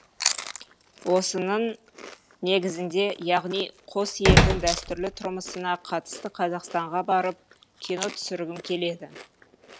осының негізінде яғни қос елдің дәстүрлі тұрмысына қатысты қазақстанға барып кино түсіргім келеді